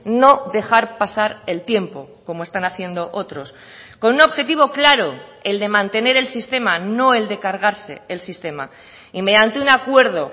no dejar pasar el tiempo como están haciendo otros con un objetivo claro el de mantener el sistema no el de cargarse el sistema y mediante un acuerdo